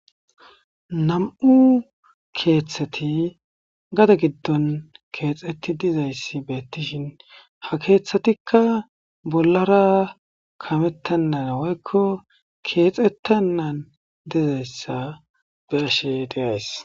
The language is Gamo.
Nam7u keeththathi gade giddon keexeththidizayssi beeththishin ha keeththathikka bollara kameththennara woykko keexeththennan dizayssa be7ashee de7ays.